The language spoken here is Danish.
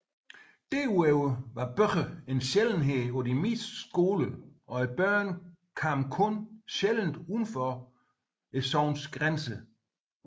Derudover var bøger en sjældenhed på de fleste skoler og børnene kom kun sjældent udenfor sognets grænser